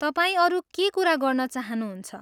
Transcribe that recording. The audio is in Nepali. तपाईँ अरू के कुरा गर्न चाहनुहुन्छ?